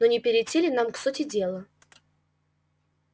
но не перейти ли нам к сути дела